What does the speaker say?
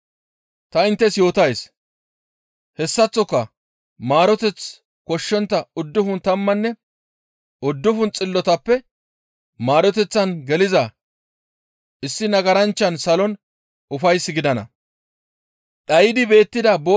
Ta inttes yootays, ‹Hessaththoka maaroteth koshshontta uddufun tammanne uddufun xillotappe maareteththan geliza issi nagaranchchan salon ufays gidana.›